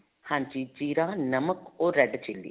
ਹਾਂਜੀ ਜੀਰਾ ਨਮਕ or red chili